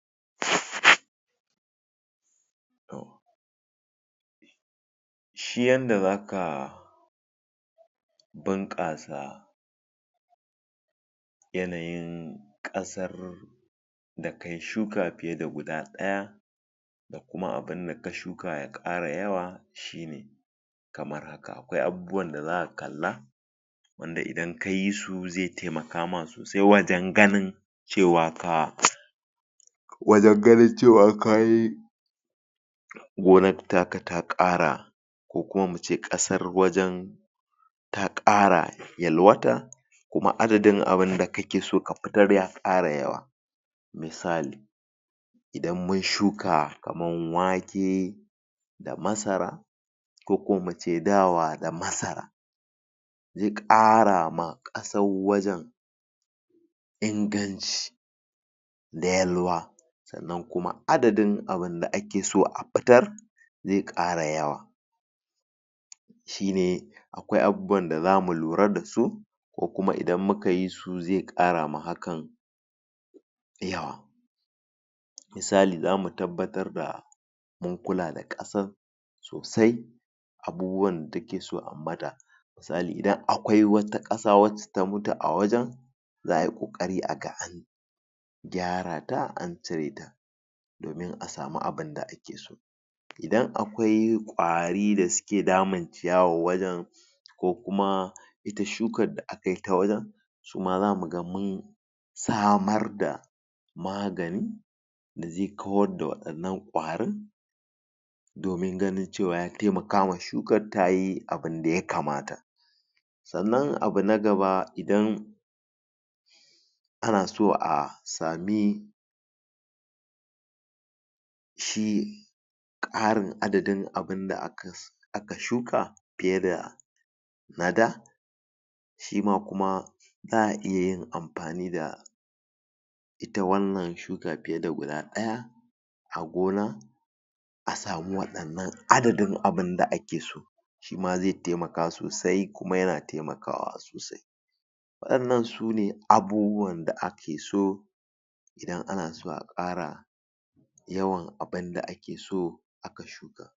Shi yanda zaka bunkasa yanayin kasar da kayi shuka kayi fiye da guda daya da kuma abinda ka tsuka ya kara yawa shine kamar haka. Akwai abubuwan da zaka kalla wanda idan kayi su toh zai taimaka ma sosai wajen ganin cewa ka wajen ganin cewa kayi gonar ta ka ta kara ko kuma mu ce kasar wajen ta kara yalwata kuma adadin abinda kake so ka fitar ya kara yawa, misali idan mun tsuka kamar wake da masara ko kuma mu ce dawa da masara zai kara ma kasar wajen inganci da yalwa, sannan kuma adadin abinda ake so a fitar zai kara yawa, shine akwai abubuwan da zamu lura dasu kuma idan mukayi su zai kara ma hakan yawa, yawa misali zamu tabbatar da mun kula da kasar sosai abubuwan da take so ayi mata, misali idan akwai wata kasa wacce ta mutu a wajen, za ayi kokari aga an gyara ta, an cire a samu abinda ake so, idan akwai kwari da suke damun ciyawar wajen ko kuma ita tsukar da aka kai ta wajen su ma zamu ga mun samar da magani da zai kawar da wannan kwarin domin ganin cewar ya taimakawa tsukar tayi abinda ya kamata, sannan abu na gaba idan ana so a sami shi karin adadin abinda aka tsuka fiye da na da shi ma kuma za'a iyayin amfani da ita wannan tsukar fiye da guda daya a gona a samu wadannan adadin abinda ake so, shima zai taimaka sosai kuma yana taimakawa Wadannan sune abubuwan da ake so idan ana so a kara yawan abinda ake so